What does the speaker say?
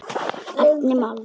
Einfalt mál.